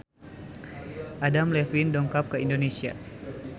Adam Levine dongkap ka Indonesia